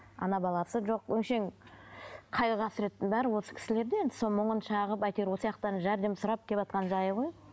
ана баласы жоқ өңшең қайғы қасіреттің бәрі осы кісілерде енді соны мұңын шағып әйтеуір жәрдем сұрап келіватқан жайы ғой